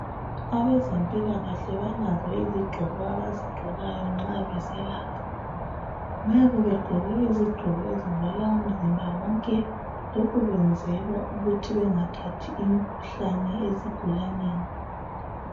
Abezempilakahle balazo izigqoko abazigqokayo nxa beselapha ,nxa begqoke izigqoko ezivala umzimba wonke lokhu kwenzelwa ukuthi bethathi imikhuhlane ezigulaneni.